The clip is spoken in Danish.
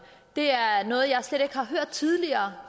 det er noget jeg slet ikke har hørt tidligere